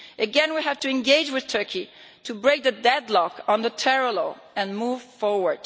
Again, we have to engage with Turkey to break the deadlock on the terror law and move forward.